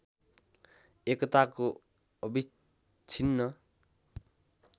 एकताको अविच्छिन्न